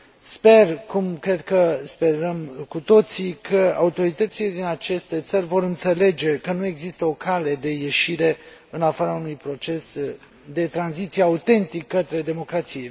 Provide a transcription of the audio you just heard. Sper, cum cred că sperăm cu toții, că autoritățile din aceste țări vor înțelege că nu există o cale de ieșire, în afara unui proces de tranziție autentic, către democrație.